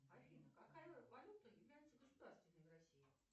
афина какая валюта является государственной в россии